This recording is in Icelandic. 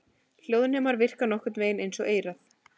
Hljóðnemar virka nokkurn vegin eins og eyrað.